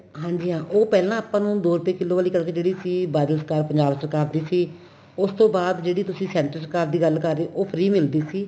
ਹਾਂਜੀ ਹਾਂ ਉਹ ਪਹਿਲਾਂ ਆਪਾਂ ਨੂੰ ਦੋ ਰੁਪਏ ਕਿੱਲੋ ਵਾਲੀ ਕਣਕ ਸੀ ਬਾਦਲ ਸਰਕਾਰ ਪੰਜਾਬ ਸਰਕਾਰ ਦੀ ਸੀ ਉਸ ਤੋਂ ਬਾਅਦ ਜਿਹੜੀ ਤੁਸੀਂ center ਸਰਕਾਰ ਦੀ ਗੱਲ ਕਰ ਰਹੇ ਓ ਉਹ free ਮਿਲਦੀ ਸੀ